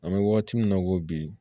An bɛ wagati min na i ko bi